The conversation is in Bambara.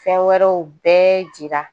Fɛn wɛrɛw bɛɛ jira